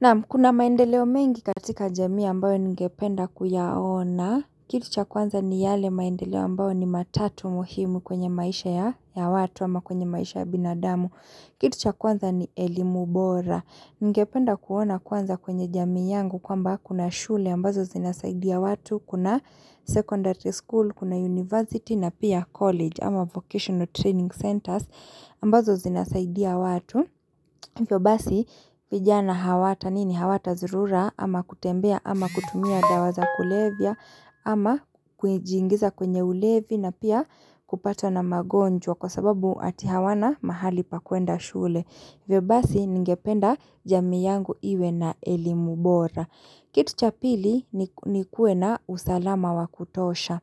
Naam kuna maendeleo mengi katika jamii ambayo ningependa kuyaona, kitu cha kwanza ni yale maendeleo ambayo ni matatu muhimu kwenye maisha ya watu ama kwenye maisha ya binadamu, kitu cha kwanza ni elimu bora. Ningependa kuona kwanza kwenye jamii yangu kwamba kuna shule ambazo zinasaidia watu, kuna secondary school, kuna university na pia college ama vocational training centers ambazo zinasaidia watu. Hivyo basi vijana hawata nini hawatazurura ama kutembea ama kutumia dawa za kulevya ama kujiingiza kwenye ulevi na pia kupata na magonjwa kwa sababu ati hawana mahali pa kuenda shule. Hivyo basi ningependa jamii yangu iwe na elimu bora. Kitu cha pili ni kuwe na usalama wa kutosha.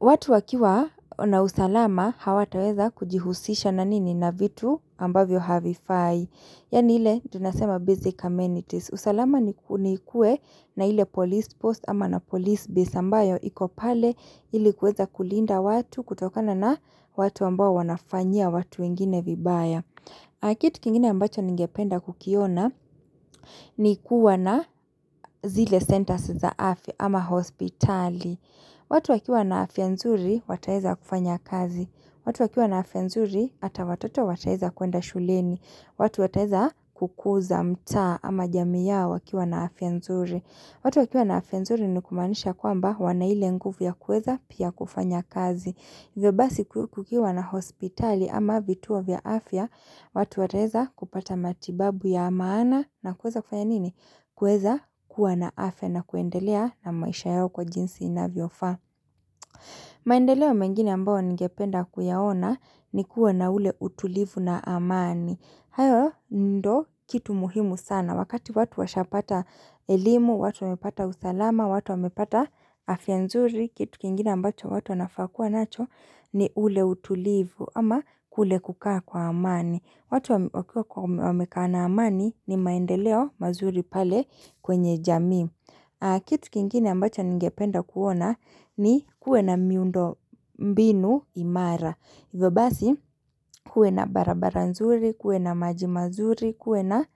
Watu wakiwa na usalama hawataweza kujihusisha na nini na vitu ambavyo havifai. Yaani ile tunasema basic ammenities. Usalama ni kuwe na ile police post ama na police base ambayo iko pale ili kuweza kulinda watu kutokana na watu ambao wanafanyia watu wengine vibaya. Na kitu kingine ambacho ningependa kukiona ni kuwa na zile centers za afya ama hospitali. Watu wakiwa na afya nzuri wataeza kufanya kazi. Watu wakiwa na afya nzuri hata watoto wataeza kuenda shuleni. Watu wataeza kukuza mtaa ama jamii yao wakiwa na afya nzuri. Watu wakiwa na afya nzuri ni kumaanisha kwamba wana ile nguvu ya kuweza pia kufanya kazi. Hivyo basi kukiwa na hospitali ama vituo vya afya, watu wataeza kupata matibabu ya maana na kueza kufanya nini? Kueza kuwa na afya na kuendelea na maisha yao kwa jinsi inavyofaa. Maendeleo mengine ambayo ningependa kuyaona ni kuwa na ule utulivu na amani. Hayo ndo kitu muhimu sana. Na wakati watu washapata elimu, watu wamepata usalama, watu wamepata afya nzuri, kitu kingine ambacho watu wanafaa kua nacho ni ule utulivu ama kule kukaa kwa amani. Watu wamekaa na amani ni maendeleo mazuri pale kwenye jamii. Kitu kingine ambacho ningependa kuona ni kuwe na miundo mbinu imara. Hivyo basi kuwe na barabara nzuri, kuwe na maji mazuri, kuwe na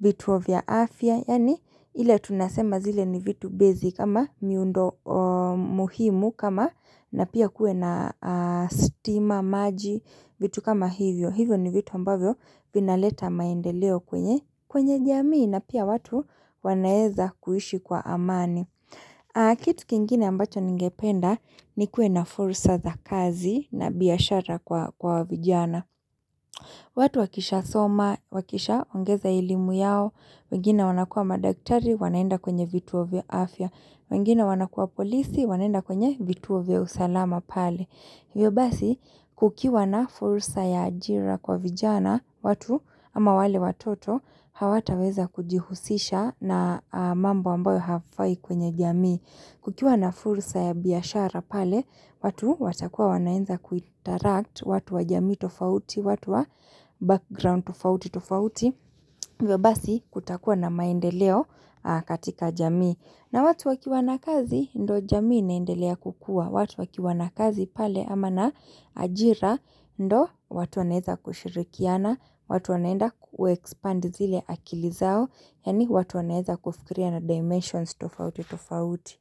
vituo vya afya, yaani ile tunasema zile ni vitu basic ama miundo muhimu kama na pia kuwe na stima maji vitu kama hivyo. Hivyo ni vitu ambavyo vinaleta maendeleo kwenye kwenye jamii na pia watu wanaeza kuishi kwa amani. Kitu kingine ambacho ningependa nikue na fursa za kazi na biashara kwa vijana watu wakishasoma, wakishaongeza elimu yao wengine wanakua madaktari, wanaenda kwenye vituo vya afya wengine wanakua polisi, wanaenda kwenye vituo vya usalama pale hivyo basi kukiwa na fursa ya ajira kwa vijana watu ama wale watoto hawataweza kujihusisha na mambo ambayo hafai kwenye jamii kukiwa na fursa ya biashara pale, watu watakuwa wanaenza kuinteract, watu wa jamii tofauti, watu wa background tofauti tofauti, hivyo basi kutakuwa na maendeleo katika jamii. Na watu wakiwa na kazi, ndo jamii inaendelea kukua, watu wakiwa na kazi pale ama na ajira, ndo watu wanaeza kushirikiana, watu wanaenda kuexpand zile akili zao, Yaani watu wanaeza kufikiria na dimensions tofauti tofauti.